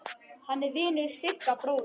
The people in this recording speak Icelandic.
Hann er vinur Sigga bróður.